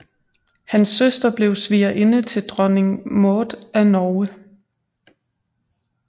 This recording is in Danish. Hans søster blev svigerinde til dronning Maud af Norge